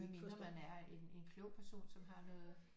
Med mindre man er en en klog person som har noget